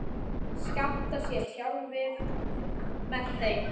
Með þeim